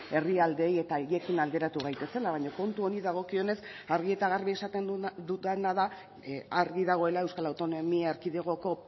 herrialdeei eta haiekin alderatu gaitezela baina kontu honi dagokionez argi eta garbi esaten dudana da argi dagoela euskal autonomia erkidegoko